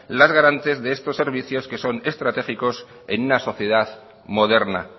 las garantes de estos servicios que son estratégicos en una sociedad moderna